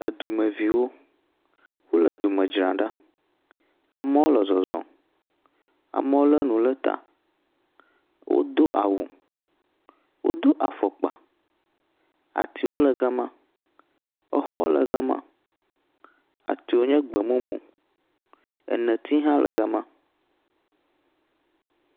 Dumeviwo, wole du me dzram ɖa. Amewo le zɔzɔm, amewo lé nu ɖe ta. Wodo awu, wodo afɔkpa, atiwo le gema, xɔwo le gema. Atiwo nye gbemumu. Neti hã le gema.